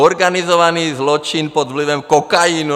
Organizovaný zločin pod vlivem kokainu.